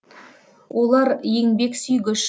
олар еңбексүйгіш